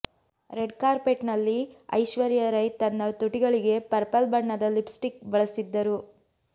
red carpet ನಲ್ಲಿ ಐಶ್ವರ್ಯ ರೈ ತನ್ನ ತುಟಿಗಳಿಗೆ ಪರ್ಪಲ್ ಬಣ್ಣದ ಲಿಪ್ಸ್ಟಿಕ್ ಬಳಸಿದ್ದರು